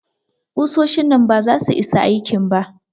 Ƙusoshin nan baza su isa aikin ba.